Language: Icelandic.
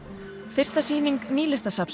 fyrsta sýning Nýlistasafnsins